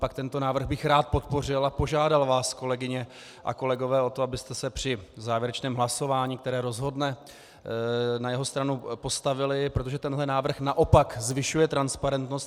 Naopak tento návrh bych rád podpořil a požádal vás, kolegyně a kolegové, o to, abyste se při závěrečném hlasování, které rozhodne, na jeho stranu postavili, protože tenhle návrh naopak zvyšuje transparentnost.